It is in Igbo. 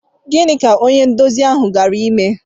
Gịnị ka onye nduzi ahụ gara ime?